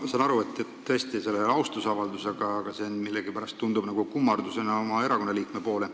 Ma saan aru, et see ei ole tõesti austusavaldus, aga see tundub millegipärast siiski nagu kummardus oma erakonna liikme poole.